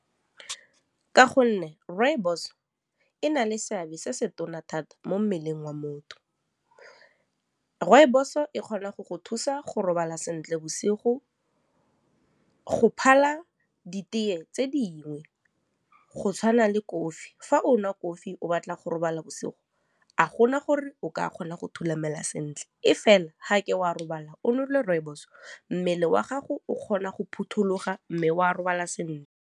Ka gonne rooibos e na le seabe se se tona thata mo mmeleng wa motho, rooibos e kgona go go thusa go robala sentle bosigo go phala ditee tse dingwe go tshwana le kofi, fa o nwa kofi o batla go robala bosigo a gona gore o ka kgona go thulamela sentle e fela ga ke wa robala o nwele rooibos mmele wa gago o kgona go phuthuloga mme o a robala .